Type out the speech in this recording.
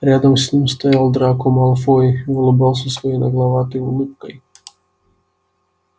рядом с ним стоял драко малфой и улыбался своей нагловатой улыбкой